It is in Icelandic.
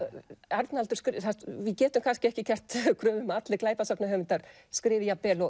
við getum kannski ekki gert kröfu um að allir glæpasagnahöfundar skrifi jafn vel og